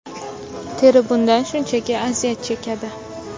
Teri bundan shunchaki aziyat chekadi.